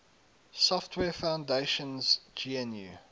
software foundation's gnu